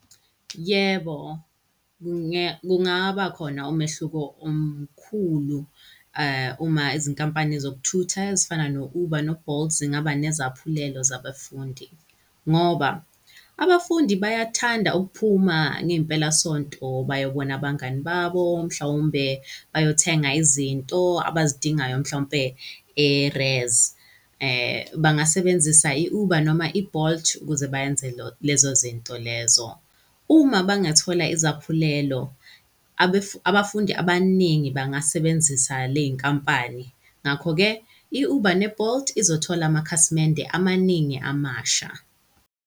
Yebo, kungaba khona umehluko omkhulu uma izinkampani zokuthutha ezifana no-Uber no-Bolt zingaba nezaphulelo zabafundi ngoba abafundi bayathanda ukuphuma ngey'mpelasonto bayobona abangani babo mhlawumbe bayothenga izinto abazidingayo, mhlawumpe e-res. Bangasebenzisa i-Uber noma i-Bolt ukuze beyenze lezo zinto lezo. Uma bangathola izaphulelo, abafundi abaningi bangasebenzisa ley'nkampani, ngakho-ke i-Uber ne-Bolt izothola amakhasimende amaningi amasha.